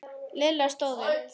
Lilla stóð upp.